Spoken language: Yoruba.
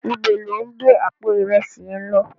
Nibó lò n gbé àpó irèsí yén lò?